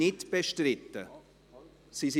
Bestreiten Sie sie?